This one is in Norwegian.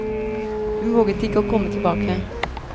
Hun våget ikke å komme tilbake.